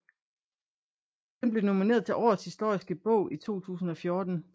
Den blev nomineret til Årets historiske bog i 2014